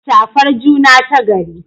Shafar juna tagari